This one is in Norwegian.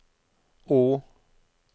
å